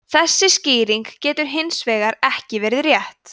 þessi skýring getur hins vegar ekki verið rétt